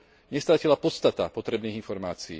nestratila podstata potrebných informácií.